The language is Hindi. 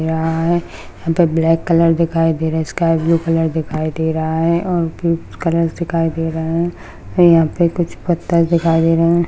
यहा है। यहा पे ब्लॅक कलर दिखायी दे रहा है स्काय ब्लू कलर कलर दिखायी दे रहा है और भी कुछ कलर्स दिखायी दे रहे है ये यहा पे कुछ पत्थर दिखायी दे रहा है।